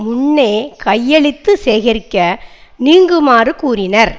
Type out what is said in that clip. முன்னே கையெழுத்து சேகரிக்க நீங்குமாறு கூறினர்